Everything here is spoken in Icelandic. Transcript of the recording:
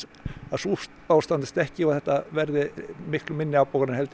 að sú spá rætist ekki og að þetta verði miklu minni afbókanir heldur